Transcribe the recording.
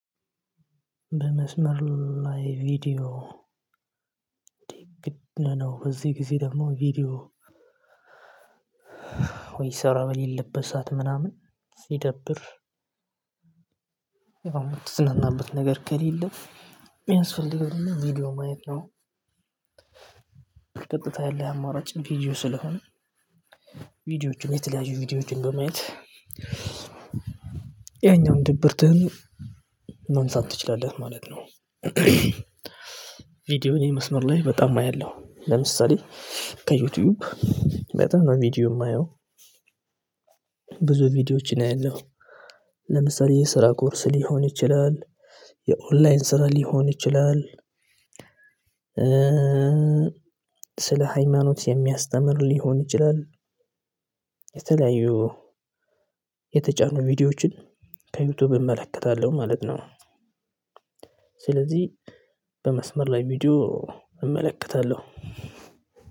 በመስመር ላይ ቪዲዮ ነው። በዚህ ጊዜ ደግሞ ቪዲዮ ወይ ስራ በሌለበት ሰዓት ምናምን ሲደብር። ያው እምትዝናናበት ነገር ከሌለ የሚያስፈልገው ቪዲዮ ማየት ነው። ቀጥታ ያለህ አማራጭ ቪዲዮ ስለሆነ ቪዲዮዎችን የተለያዩ ቪዲዮዎችን በማየት ያኛውን ድብርትህን መንሳት ትችላለህ ማለት ነው። ቪዲዮውን የመስመር ላይ በጣም አያለሁ ለምሳሌ ከዩቲዩብ በጣም ቪዲዮ የማየው ብዙ ቪዲዮዎችን አያለሁ ለምሳሌ የስራ ኮርስ ሊሆን ይችላል የኦንላይን ስራ ሊሆን ይችላል። ስለ ሃይማኖት የሚያስተምር ሊሆን ይችላል የተለያዩ የተጫኑ ቪዲዮዎችን ከዩቲዩብ እመለከታለሁ ማለት ነው። ስለዚህ በመስመር ላይ ቪዲዮ እመለከታለሁ